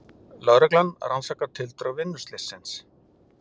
Lögreglan rannsakar tildrög vinnuslyssins